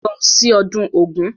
Lọ sí ọdún Ògún!